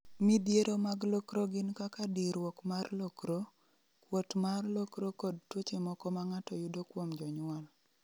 Midhiero mag lokro gin kaka diruok mar lokro, kuot mar lokro kod tuoche moko ma ng�ato yudo kuom jonyuol